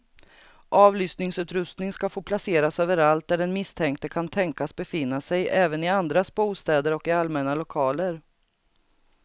Avlyssningsutrustning ska få placeras överallt där den misstänkte kan tänkas befinna sig, även i andras bostäder och i allmänna lokaler.